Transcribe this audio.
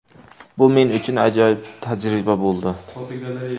Bu men uchun ajoyib tajriba bo‘ldi.